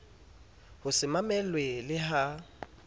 ho se mamelwe le ha